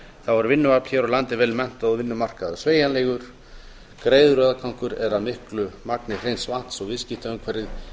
er vinnuafl hér á landi vel menntað og vinnumarkaður sveigjanlegur greiður aðgangur er að miklu magni hreins vatns og viðskiptaumhverfið